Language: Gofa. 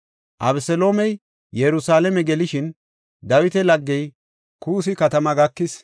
Abeseloomey Yerusalaame gelishin, Dawita laggey Kuussi katama gakis.